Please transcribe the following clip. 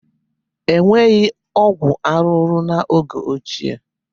E nweghị ọgwụ arụrụ n'oge ochie